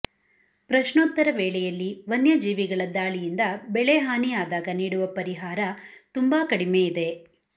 ಪ್ರಶ್ನೋತ್ತರ ವೇಳೆಯಲ್ಲಿ ವನ್ಯಜೀವಿಗಳ ದಾಳಿಯಿಂದ ಬೆಳೆಹಾನಿ ಯಾದಾಗ ನೀಡುವ ಪರಿಹಾರ ತುಂಬಾ ಕಡಿಮೆ ಇದೆ